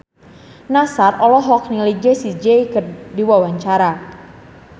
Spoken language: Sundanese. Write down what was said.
Nassar olohok ningali Jessie J keur diwawancara